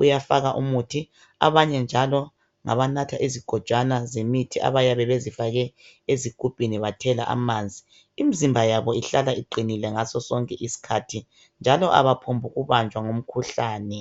uyafaka umuthi. Abanye njalo ngabanatha izigojwana zemithi, abayabe bezifake ezigubhini, bathela amanzi. Imizimba yabo ihlala iqinile ngaso sonke isikhathi, njallo kabaphombu kubanjwa yimikhuhlane.